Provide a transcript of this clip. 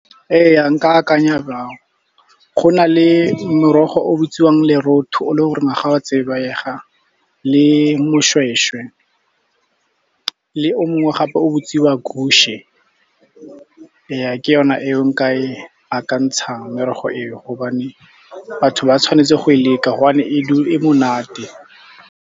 Eya, nka akanya jalo. Go na le morogo o bitsiwang le lorotho, o le gore naga wa o a tsebega le mošwešwe, le o mongwe gape o bitsiwa . Ja, ke yona e nka e akantshang merogo e o gobane batho ba tshwanetse go e leka, gobane e monate.